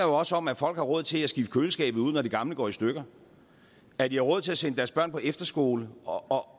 også om at folk har råd til at skifte køleskabet ud når det gamle går i stykker at de har råd til at sende deres børn på efterskole og